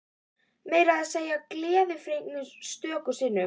Meira að segja gleðifregnir stöku sinnum.